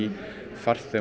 farþegum